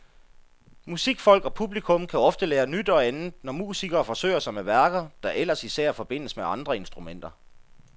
Musikfolk og publikum kan ofte lære nyt og andet, når musikere forsøger sig med værker, der ellers især forbindes med andre instrumenter.